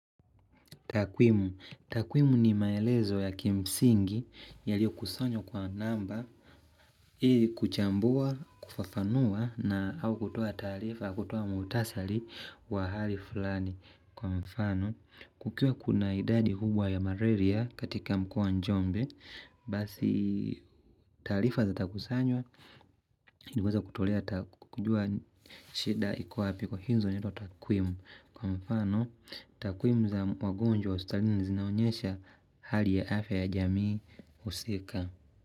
Takwimu, takwimu ni maelezo ya kimsingi yaliyo kusanywa kwa namba, ili kuchambua, kufafanua na au kutoa taarifa, kutoa muhtasari wa hali fulani. Kwa mfano kukiwa kuna idadi kubwa ya malaria katika mkoa wa njombe Basi taarifa zitakusanywa ili iweze kutolea kujua shida iko wapi hizo huitwa takwimu Kwa mfano takwimu za wagonjwa hospitalini zinaonyesha hali ya afya ya jamii husika.